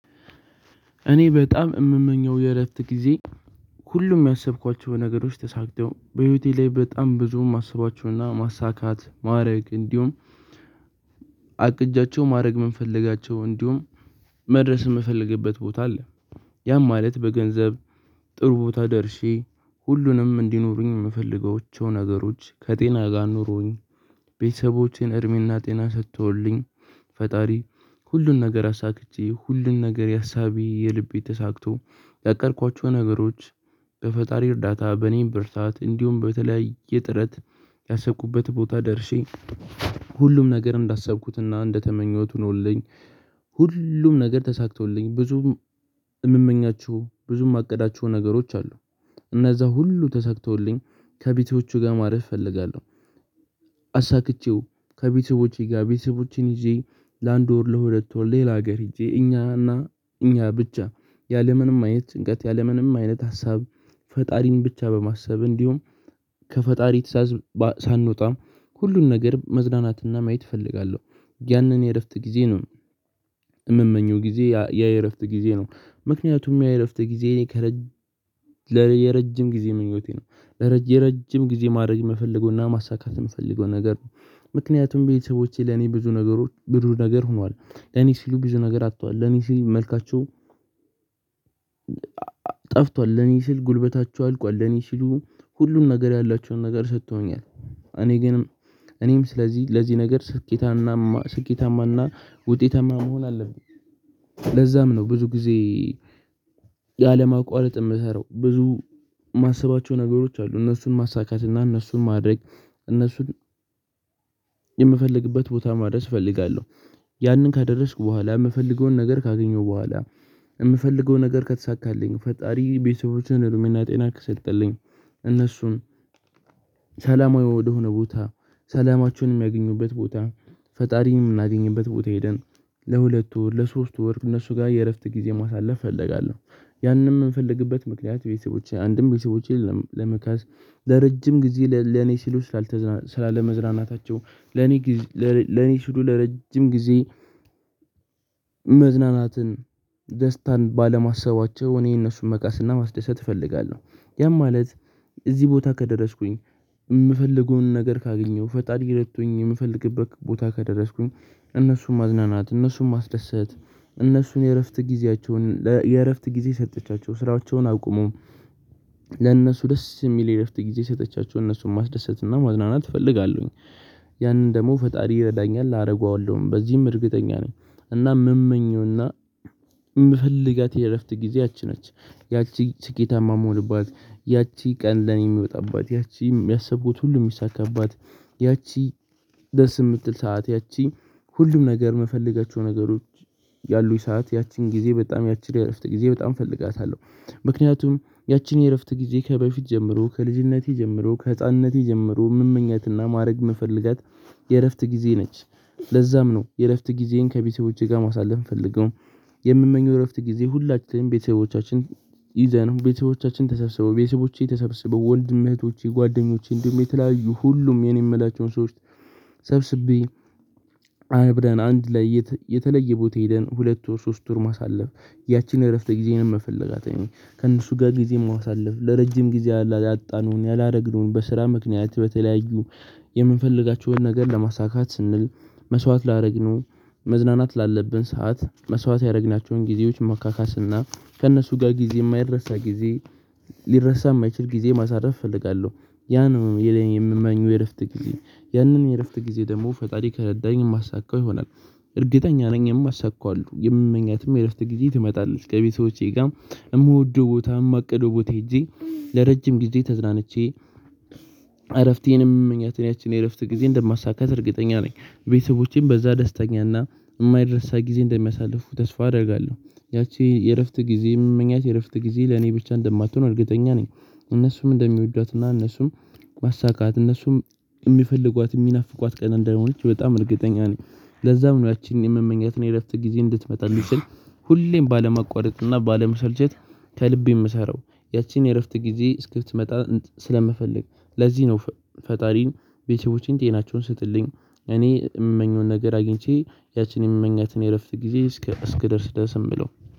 እኔ በጣም እምመኘው የእረፍት ጊዜ ሁሉም ያሰብኳቸው ነገሮች ተሳክተው በህይወቴ ላይ በጣም ብዙም እማስቧቸውና ማሳካት ማድረግ እንዲሁም አቅጃቸው ማድረግ ምን የምንፈልጋቸው እንዲሁም መድረስ የምፈልግበት ቦታ አለ። ያም ማለት በገንዘብ ጥሩ ቦታ ደርሼ ሁሉንም እንዲኖሩኝ የምፈልገው ነገሮች ከጤና ጋር ንሮኝ። ቤተሰቤ እድሜ እና ጤና ሰጥቶልኝ ፈጣሪ ሁሉን ነገር አሳክቼ ሁሉን ነገር ያሳቤ የልቤ ተሳክቶ ያቀድኳቸው ነገሮች። በፈጣሪ እርዳታ በእኔም ብርታት እንዲሁም በተለያየ ጥረት ያሰብኩበት ቦታ ደርሼ ሁሉም ነገር እንዳሰብኩትና እንደተመኘሁት ሆኖልኝ። ሁሉም ነገር ተሳክቶልኝ ብዙም የምመኛችሁ ብዙም የማቀዳችሁ ነገሮች አሉ እነዛ ሁሉ ተሰክተውልኝ ከቤተሰቤቼ ጋር ማለት እፈልጋለሁ። አሳክቼው ከቤተሰቦቼ ጋር ቤተሰቦቼን ይዤ ለአንድ ወር ለሁለት ወር ሌላ ሀገር ህጄ እኛና እኛ ብቻ ያለምንም አይነት ጭንቀት ያለምንም አይነት ሀሳብ ፈጣሪን ብቻ በማሰብ እንዲሁም ከፈጣሪ ሳንወጣ ሁሉን ነገር መዝናናትና ማየት እፈልጋለሁ። ያንን የእረፍት ጊዜ ነው። እምመኘው ጊዜ ያ የእረፍት ጊዜ ነው ምክንያቱም ያ የእረፍት ጊዜ እኔ ከረጅም የረጅም ጊዜ ምኞቴ ነው። የረጅም ጊዜ ማድረግ የምፈልገውና ማሳካት የምፈልገው ነገር ነው። ምክንያቱም ቤተሰቦቼ ለኔ ብዙ ነገሮች ብዙ ነገር ሆኗል ለኔ ሲሉ ብዙ ነገር አጥቷል ለኔ ሲሉ መልካችሁ ጠፍቷል ለኔ ስል ጉልበታችሁ አልቋል ለኔ ስሉ ሁሉን ነገር ያላችሁን ነገር ሰጥቶኛል እኔ ግን እኔም ስለዚህ ለዚህ ነገር ስኬታማ ስኬታማና ውጤታማ መሆን አለብኝ። ለዛም ነው ብዙ ጊዜ ያለማቋረጥ የምሰራው ብዙ የማስባቸው ነገሮች አሉ እነሱን ማሳካት እና እነሱን ማድረግ እነሱን የምፈልግበት ቦታ ማድረስ እፈልጋለሁ። ያንን ከደረስኩ በኋላ የምፈልገውን ነገር ካገኘሁ በኋላ የምፈልገውን ነገር ከተሳካልኝ ፈጣሪ ቤተሰቦችን እድሜ እና ጤና ከሰጠልኝ እነሱን ሰላማዊ ወደሆነ ቦታ ሰላማችንም ያገኙበት ቦታ ፈጣሪንም የምናገኝበት ቦታ ሄደን ለሁለቱ ወር ለሶስቱ ወር እነሱ ጋር የእረፍት ጊዜ ማሳለፍ እፈልጋለሁ። ያንን የምንፈልግበት ምክንያት ቤተሰቦች አንድም ቤተሰቦቼን ለመካስ ለረጅም ጊዜ ለኔ ሲሉ ስላለመዝናናታቸው ለኔ ለኔ ሲሉ ለረጅም ጊዜ መዝናናትን ደስታን ባለማሰባቸው እኔ እነሱን መካስና ማስደሰት እፈልጋለሁ። ያም ማለት እዚህ ቦታ ከደረስኩኝ የምፈልገውን ነገር ካገኘሁ ፈጣሪ ረዶኝ የምፈልግበት ቦታ ከደረስኩኝ እነሱን ማዝናናት እነሱን ማስደሰት እነሱን የእረፍት ጊዜያቸውን የእረፍት ጊዜ ሰጠቻቸው ስራቸውን አቁሞው ደስ የሚል የእረፍት ጊዜ ሰጪቻቸው እነሱን ማስደሰት እና ማዝናናት እፈልጋለሁኝ። ያንን ደግሞ ፈጣሪ ይረዳኛል አደርገዋለሁም በዚህም እርግጠኛ ነኝ። እና የምመኘውና የምፈልጋት የእረፍት ጊዜ ያቺ ነች ያቺ ስኬታማ የምሆንባት ያቺ ቀን ለኔ የምመጣባት ያቺም ያሰቡት ሁሉ የሚሳካባት። ያቺ ደስ የምትል ሰዓት ያቺ ሁሉም ነገር የምፈልጋቸው ነገሮች ያሉኝ ሰዓት ያቺን ጊዜ በጣም ያቺን የእረፍት ጊዜ በጣም እፈልጋታለሁ። ምክንያቱም ያቺን የእረፍት ጊዜ ከበፊት ጀምሮ ከልጅነቴ ጀምሮ ከህፃንነቴ ጀምሮ ምመኝታና ማድረግ ምን ፈልጋት የእረፍት ጊዜ ነች። ለዛም ነው የእረፍት ጊዜን ከቤተሰቦቼ ጋር ማሳለፍ እንፈልገው። የምመኘው እረፍት ጊዜ ሁላችንም ቤተሰቦቻችን ይዘን ቤተሰቦቻችን ተሰብስበው ቤተሰቦቼ ተሰብስበው ወንድም እህቶቼ ጓደኞቼ እንዲሁም የተለያዩ ሁሉም የኔ የምላቸውን ሰዎች ሰብስቤ አይ ብለን አንድ ላይ የተለየ ቦታ ሄደን ሁለቱን ሶስት ወር ማሳለፍ። ያቺን የእረፍት ጊዜንም መፈለጋት ነው ከእነሱ ጋር ጊዜም ማሳለፍ ለረጅም ጊዜ ያለ ያጣነውን ያላደረግነውን በስራ ምክንያት በተለያዩ የምንፈልጋቸውን ነገር ለማሳካት ስንል መስዋዕት ላደረግነው መዝናናት ላለብን ሰዓት መስዋዕት ያደረግናቸውን ጊዜዎች ማካካስና ከእነሱ ጋር ጊዜ የማይረሳ ጊዜ ሊረሳ የማይችል ጊዜ ማሳረፍ እፈልጋለሁ። ያ ነው የምመኘው የእረፍት ጊዜ ያንን የእረፍት ጊዜ ደግሞ ፈጣሪ ከረዳኝ የማሳካው ይሆናል። እርግጠኛ ነኝ። የማሳካው የምመኛትም የእረፍት ጊዜ ትመጣለች ከቤተሰቦቼ ጋር የምወደው ቦታ የማቅደው ቦት ሄጄ ለረጅም ጊዜ ተዝናንቼ እረፍቴንም ምክንያት ያቺን የእረፍት ጊዜ እንደማሳካት እርግጠኛ ነኝ። ቤተሰቦቼም በዛ ደስተኛ እና የማይረሳ ጊዜ እንደሚያሳልፉ ተስፋ አደርጋለሁ። ያቺ የእረፍት ጊዜ የምንመኘው እረፍት ጊዜ ለኔ ብቻ እንደማትሆን እርግጠኛ ነኝ። እነሱም እንደሚወዷትና እነሱም ማሳካት እነሱም የሚፈልጓት የሚናፍቋት ቀን እንደሆነች በጣም እርግጠኛ ነኝ። ለዛ ነው ያቺን የምመኛት እና የእረፍት ጊዜ እንድትመጣ ልትችል ሁሌም ባለማቋረጥ እና ባለመሰልቸት ከልብ የምሰራው ያቺን የእረፍት ጊዜ እስክትመጣ ስለምፈልግ ለዚህ ነው። ፈጣሪን ቤተሰቦቼን ጤናቸውን ስጥልኝ እኔ የምመኘውን ነገር አግኝቼ ያቺን የምመኘትን የእረፍት ጊዜ እስክደርስ ደስ የምለው